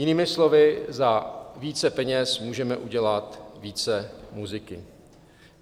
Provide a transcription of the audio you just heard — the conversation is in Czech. Jinými slovy za více peněz můžeme udělat více muziky.